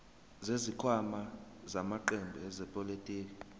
zesikhwama samaqembu ezepolitiki